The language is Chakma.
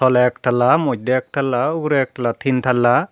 toley ek tala moddey ek tala ugurey ek tala tin tala.